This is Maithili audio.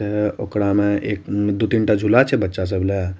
ये उकरा में एक दो-तीन ता झुला छै बच्चा सब ला।